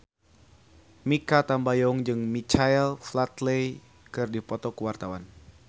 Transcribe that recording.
Mikha Tambayong jeung Michael Flatley keur dipoto ku wartawan